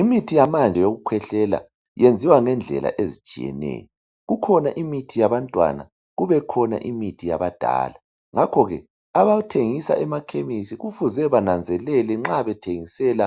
Imithi yamanje yokukhwehlela yenziwa ngendlela ezitshiyeneyo. Kukhona imithi yabantwana, kubekhona imithi yabadala. Ngakho ke abathengisa emakhemesi kufuze bananzelele nxa bethengisela